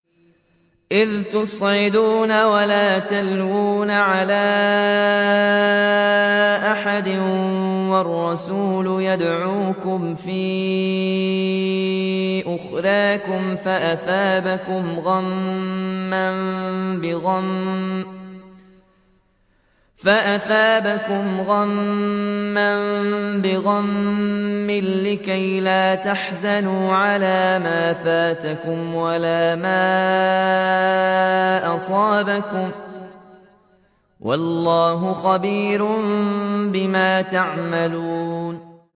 ۞ إِذْ تُصْعِدُونَ وَلَا تَلْوُونَ عَلَىٰ أَحَدٍ وَالرَّسُولُ يَدْعُوكُمْ فِي أُخْرَاكُمْ فَأَثَابَكُمْ غَمًّا بِغَمٍّ لِّكَيْلَا تَحْزَنُوا عَلَىٰ مَا فَاتَكُمْ وَلَا مَا أَصَابَكُمْ ۗ وَاللَّهُ خَبِيرٌ بِمَا تَعْمَلُونَ